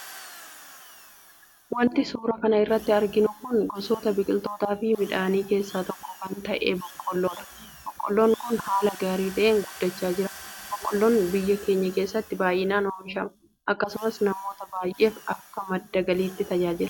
Wanti suuraa kana irratti arginu kun gosoota biqiltootaa fi midhaanii keessaa tokko kan ta'e boqqolloo dha. Boqqoloon kun haala gaarii ta'een guddachaa jira. Boqqolloon biyya keenya keessatti baay'inaan oomishama. Akkasumas, namoota baay'eef akka madda galiitti tajaajila.